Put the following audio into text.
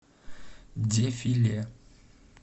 дефиле